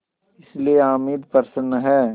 इसलिए हामिद प्रसन्न है